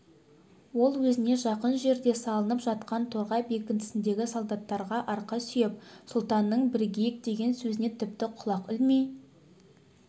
ол өзіне жақын жерде салынып жатқан торғай бекінісіндегі солдаттарға арқа сүйеп сұлтанның бірігейік деген сөзіне тіпті құлақ ілмей